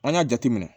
An y'a jate minɛ